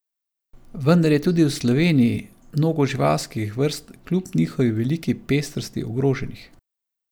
Vendar je tudi v Sloveniji mnogo živalskih vrst kljub njihovi veliki pestrosti ogroženih.